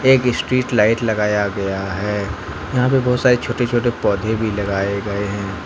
एक street light लगाया गया है यहां पे बहुत सारे छोटे छोटे पौधे भी लगाए गए हैं।